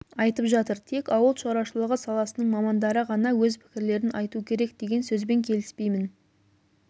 айтып жатыр тек ауыл шаруашылығы саласының мамандары ғана өз пікірлерін айту керек деген сөзбен келіспеймін